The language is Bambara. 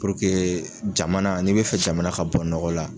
Puruke jamana n'i bɛ fɛ jamana ka bɔ nɔgɔ la.